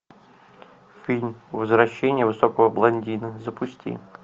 фильм возвращение высокого блондина запусти